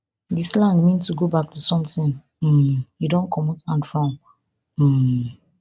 di slang mean to go back to something um you don comot hand from um